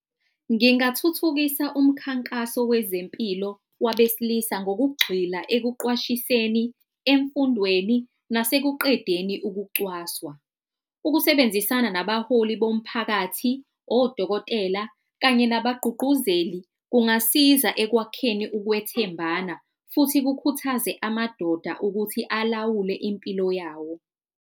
Ngingathuthukisa umkhankaso wezempilo wabesilisa ngokugxila ekuqwashiseni emfundweni nasekuqedeni ukucwaswa. Ukusebenzisana nabaholi bomphakathi odokotela kanye ngabagqugquzeli kungasiza ekwakheni ukwethembana futhi kukhuthaze amadoda ukuthi alawule impilo yawo.